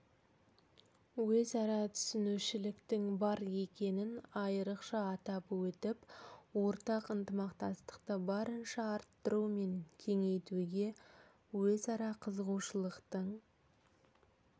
өзара түсінушіліктің бар екенін айрықша атап өтіп ортақ ынтымақтастықты барынша арттыру мен кеңейтуге өзара қызығушылықтың